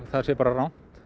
það sé bara rangt